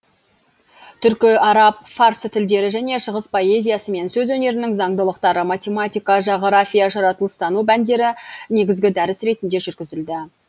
түркі араб фарсы тілдері және шығыс поэзиясы мен сөз өнерінің заңдылықтары математика жағырафия жаратылыстану пәндері негізгі дәріс ретінде жүргізілді